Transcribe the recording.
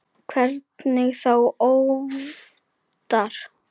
Hvernig þá óvitar?